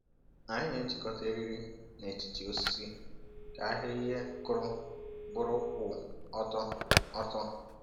Anyị na-ejikọta eriri n’etiti osisi ka ahịrị ihe kụrụ bụrụ kwụ ọtọ. ọtọ.